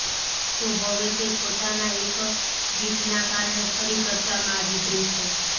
તો હવે તે પોતાના એક ટ્વીટના કારણે ફરી ચર્ચામાં આવી ગઈ છે